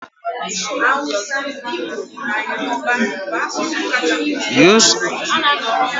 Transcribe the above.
Use proverbs during your conversation, so that you will be more conversant with it.